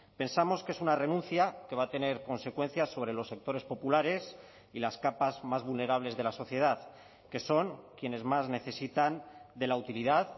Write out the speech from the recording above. pensamos que es una renuncia que va a tener consecuencias sobre los sectores populares y las capas más vulnerables de la sociedad que son quienes más necesitan de la utilidad